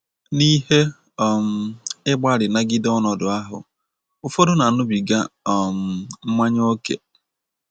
N' ihe um ịgbalị nagide ọnọdụ ahụ, ụfọdụ na - aṅụbiga um mmanya ókè